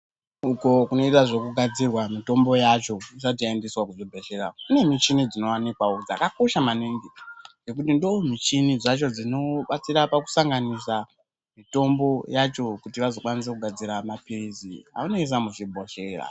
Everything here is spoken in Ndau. Uko kunoitwa zvekugadzira mitombo yacho isati yaendeswa kuzvibhehleya kune michini dzinowanikwawo dzakakosha maningi ngekuti ndomichini dzacho dzinobatsira pakusanganisa mitombo yacho kuti vazokwanisa kugadzira mapilizi avanoise muchibhehleya.